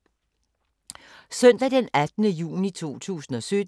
Søndag d. 18. juni 2017